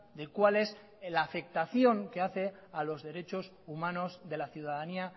de cuál es la afectación que hace a los derechos humanos de la ciudadanía